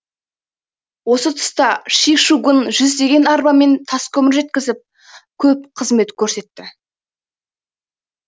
осы тұста ши шигуң жүздеген арбамен таскөмір жеткізіп көп қызмет көрсетті